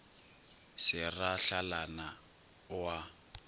se ra hlalana o a